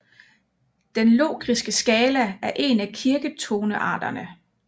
Den Lokriske skala er en af kirketonearterne